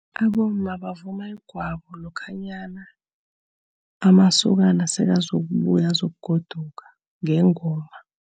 Abomma bavuma igwabo lokhanyana amasokana sekazokubuya azokugoduka, ngengoma.